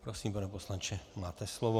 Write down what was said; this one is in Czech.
Prosím, pane poslanče, máte slovo.